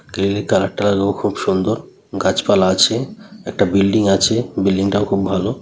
Grill -এর colour টা লো খুব সুন্দর। গাছপালা আছে। একটা বিল্ডিং আছে। বিল্ডিং টাও খুব ভালো।